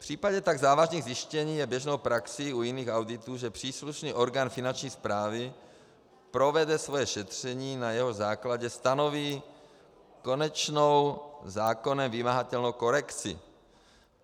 V případě tak závažných zjištění je běžnou praxí u jiných auditů, že příslušný orgán finanční správy provede svoje šetření, na jehož základě stanoví konečnou, zákonem vymahatelnou korekci.